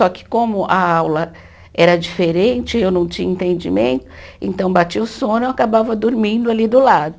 Só que como a aula era diferente e eu não tinha entendimento, então batia o sono e eu acabava dormindo ali do lado.